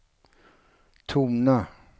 tona